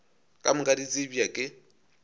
ka moka di tsebja ke